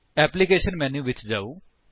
application menu ਵਿੱਚ ਜਾਓ